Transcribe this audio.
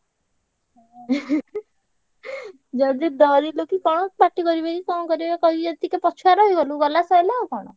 ଯଦି ଡରିଲୁ କି କଣ ପାଟି କରିବେ କି କଣ କରିବେ କହିବେ ଯଦି ଟିକେ ପଛୁଆ ରହିଗଲୁ ଗଲା ସଇଲା ଆଉ କଣ।